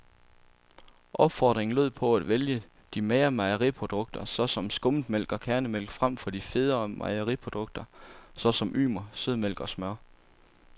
Opfordringen lød på at vælge de magre mejeriprodukter, såsom skummetmælk og kærnemælk, frem for de federe mejeriprodukter, såsom ymer, sødmælk og smør.